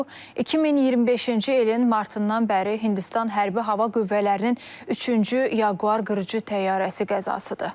Bu 2025-ci ilin martından bəri Hindistan Hərbi Hava Qüvvələrinin üçüncü Jaguar qırıcı təyyarəsi qəzasıdır.